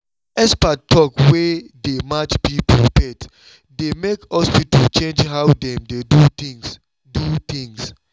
expert talk wey dey match people faith dey make hospital change how dem dey do things. do things.